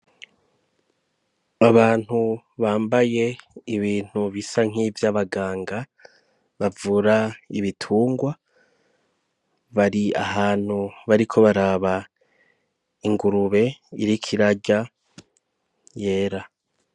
Abantu bambaye ibintu bisa nk’ivyabaganga bavura ibitungwa bari ahantu bariko baraba ingurube iriko irarya yera.